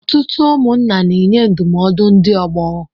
Ọtụtụ ụmụnna na-enye ndụmọdụ ndị ọgbọ.